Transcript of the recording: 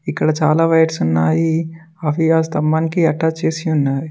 ఇక్కడ చాలా వైర్స్ ఉన్నాయి అవి ఆ స్తంభానికి అటాచ్ చేసి ఉన్నాయి.